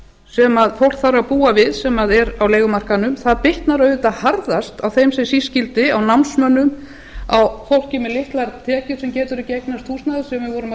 sem fólk þarf að búa við sem er á leigumarkaðnum bitnar auðvitað harðast á þeim sem síst skyldi á námsmönnum á fólki með litlar tekjur sem getur ekki eignast húsnæði sem við vorum að